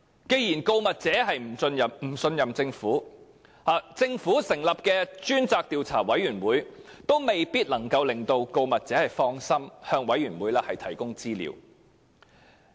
既然告密者不信任政府，政府成立的獨立調查委員會也未必能夠令告密者放心向其提供資料。